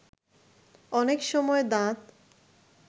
অনেক সময় দাঁত